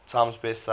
times best seller